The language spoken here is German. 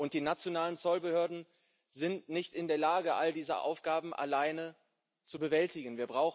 Die nationalen Zollbehörden sind nicht in der Lage, all diese Aufgaben alleine zu bewältigen.